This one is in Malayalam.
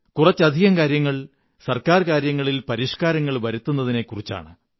കുറച്ചധികം കാര്യങ്ങൾ ഗവണ്മെിന്റ് കാര്യങ്ങളിൽ പരിഷ്കാരങ്ങൾ വരുത്തുന്നതിനെക്കുറിച്ചാണ്